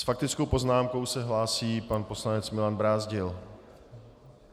S faktickou poznámkou se hlásí pan poslanec Milan Brázdil.